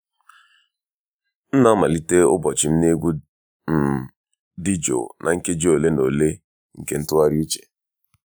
m na-amalite ụbọchị m na egwu um dị jụụ na nkeji ole na ole nke ntụgharị uche.